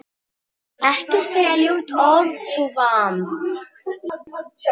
Einmana vinum mínum.